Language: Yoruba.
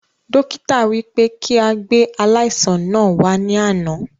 Dókítà wí pé kí a gbé aláìsàn náà wà ní àná